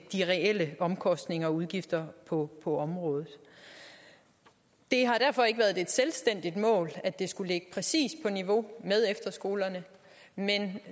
de reelle omkostninger og udgifter på på området det har derfor ikke været et selvstændigt mål at det skulle ligge præcis på niveau med efterskolerne men